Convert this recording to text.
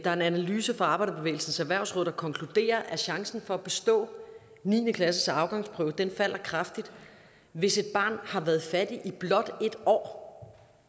er en analyse fra arbejderbevægelsens erhvervsråd der konkluderer at chancen for at bestå niende klasseafgangsprøven falder kraftigt hvis et barn har været fattig i blot et år